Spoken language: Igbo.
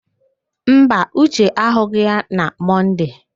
Mba, Uche ahụghị ya na Mọnde.